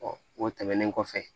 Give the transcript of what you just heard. o tɛmɛnen kɔfɛ